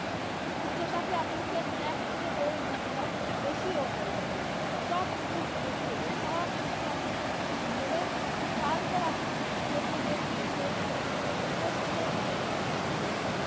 check up এ আপনাকে এক থেকে দেড় ঘন্টা বেশিও হয়ে যায় সব কিছু জিজ্ঞেস করবে সব কিছু আপনার জিজ্ঞেস করে তারপর আপনাকে report দিবে report করে নিয়ে আসুন সেই report ওনারা check up করবে.